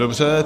Dobře.